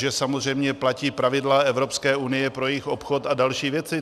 Že samozřejmě platí pravidla Evropské unie pro jejich obchod a další věci.